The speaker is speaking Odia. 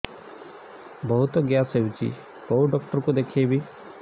ବହୁତ ଗ୍ୟାସ ହଉଛି କୋଉ ଡକ୍ଟର କୁ ଦେଖେଇବି